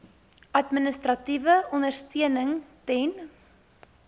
administratiewe ondersteuning ten